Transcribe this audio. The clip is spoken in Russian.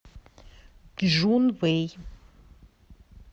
чжунвэй